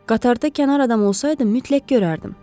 Qatarda kənar adam olsaydım, mütləq görərdim.